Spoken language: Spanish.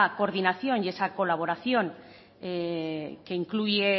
coordinación y esa colaboración que incluye